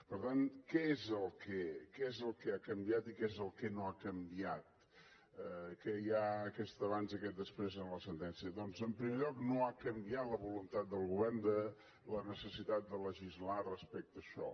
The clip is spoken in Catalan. per tant què és el que ha canviat i què és el que no ha canviat que hi ha aquest abans i aquest després en la sentència doncs en primer lloc no ha canviat la voluntat del govern de la necessitat de legislar respecte a això